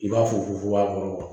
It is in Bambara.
I b'a fugu fugu